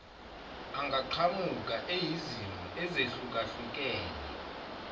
angaqhamuka eyizimo ezehlukahlukene